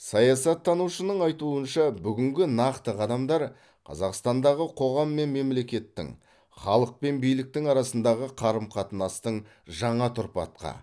саяаттанушының айтуынша бүгінгі нақты қадамдар қазақстандағы қоғам мен мемлекеттің халық пен биліктің арасындағы қарым қатынастың жаңа тұрпатқа